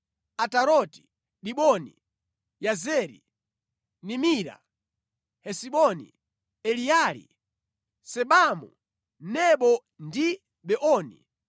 “Ataroti, Diboni, Yazeri, Nimira, Hesiboni, Eleali, Sebamu, Nebo ndi Beoni,